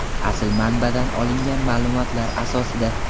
Asl manbadan olingan ma’lumotlar asosida.